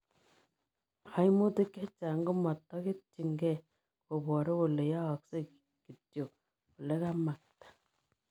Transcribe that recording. Kaimutik chechang komataketyin gei koparuu kolee yaaksei kityo olekamaktaa.